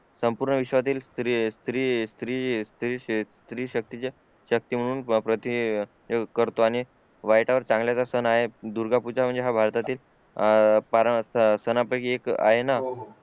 संपूर्ण विश्वातील स्त्री स्त्री शक्तीच्या शक्ती म्हणून प्रति करतो आणि वाईटावर चांगल्याच सण आहे दुर्गा पूजा म्हणजे हा भारतातील अं फार सणा पैकी एक आहे ना